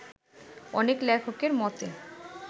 অনেক লেখকের মতে